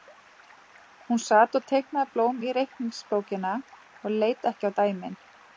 Hún sat og teiknaði blóm í reikningsbókina og leit ekki á dæmin.